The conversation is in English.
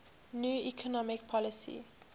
new economic policy